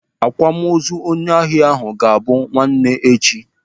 Akwamozu onye ahịa ahụ bụ ga-abụ nwanne echi.